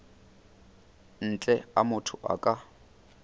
ntle a motho a ka